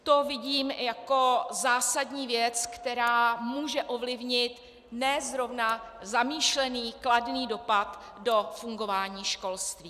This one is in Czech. To vidím jako zásadní věc, která může ovlivnit ne zrovna zamýšlený kladný dopad do fungování školství.